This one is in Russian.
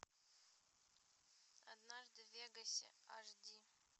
однажды в вегасе аш ди